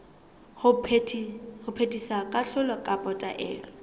ho phethisa kahlolo kapa taelo